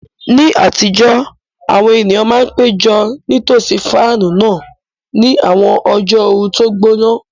Ní àtijọ́, àwọn ènìyàn máa ń péjọ nítòsí fáànù náà ní àwọn ọjọ́ ooru tó gbóná.